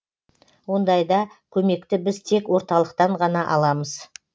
ондайда көмекті біз тек орталықтан ғана аламыз